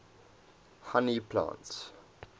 honey plants